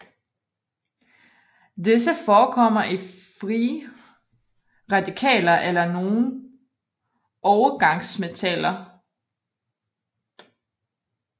Disse forekommer i frie radikaler eller nogle overgangsmetaller